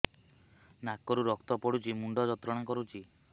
ନାକ ରୁ ରକ୍ତ ପଡ଼ୁଛି ମୁଣ୍ଡ ଯନ୍ତ୍ରଣା କରୁଛି